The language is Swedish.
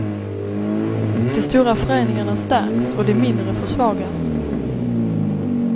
De stora föreningarna stärks och de mindre försvagas.